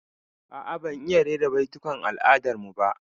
A'a, ban iya rera baitukan al'adar mu ba